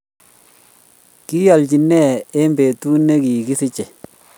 kialchini nee eng'betut ne kikisichei